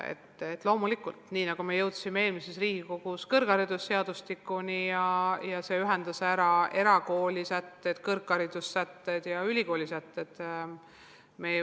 Eelmises Riigikogus me jõudsime kõrgharidusseadustikuni, mis ühendas erakoolide sätted, üldised kõrgharidussätted ja ülikoolide sätted.